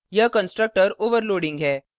यह constructor overloading है